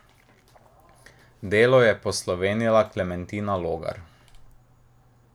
Delo je poslovenila Klementina Logar.